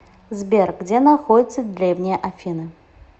сбер где находится древние афины